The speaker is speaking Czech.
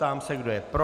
Ptám se, kdo je pro.